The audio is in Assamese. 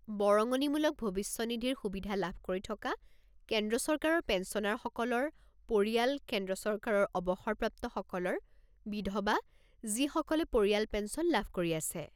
বৰঙনিমূলক ভৱিষ্যনিধিৰ সুবিধা লাভ কৰি থকা কেন্দ্ৰ চৰকাৰৰ পেঞ্চনাৰসকলৰ পৰিয়াল কেন্দ্ৰ চৰকাৰৰ অৱসৰপ্ৰাপ্তসকলৰ বিধৱা যিসকলে পৰিয়াল পেঞ্চন লাভ কৰি আছে।